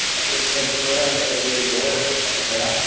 बहत ही अच्छा है और है। ये काफी बड़ा है।